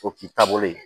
O k'i taabolo ye